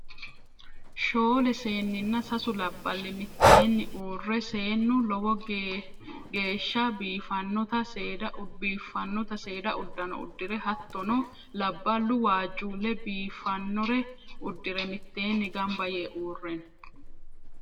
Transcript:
shoole seeninna sasu laballi miteenni uure seenu lowogeesha biifannota seeda udanno udire hatonno labaluno waajule biofanore udire miteenni ganba yee uure no.